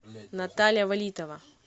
наталья валитова